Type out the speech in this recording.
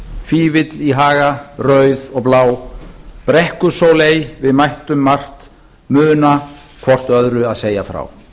foldarskart fifill í haga rauð og blá brekkusóley við mættum margt muna hvort öðru að segja frá